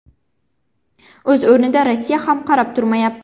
O‘z o‘rnida, Rossiya ham qarab turmayapti.